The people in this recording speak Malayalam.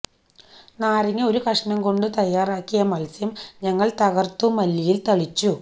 നാരങ്ങ ഒരു കഷണം കൊണ്ട് തയ്യാറാക്കിയ മത്സ്യം ഞങ്ങൾ തകർത്തു മല്ലിയിൽ തളിച്ചു